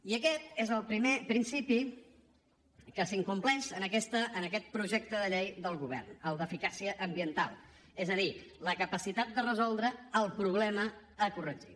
i aquest és el primer principi que s’incompleix en aquest projecte de llei del govern el d’eficàcia ambiental és a dir la capacitat de resoldre el problema a corregir